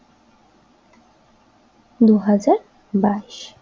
দুই হাজার বাইস